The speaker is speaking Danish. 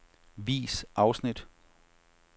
Vis afsnit.